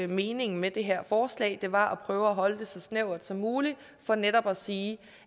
meningen med det her forslag det var prøve at holde det så snævert som muligt for netop at sige